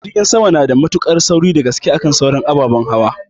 Jirgin sama nada mutuƙar sauri dagaske akan sauran ababen hauwa